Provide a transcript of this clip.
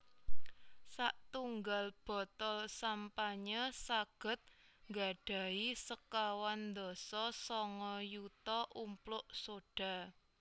Satunggal botol sampanye saged nggadhahi sekawan dasa sanga yuta umpluk sodha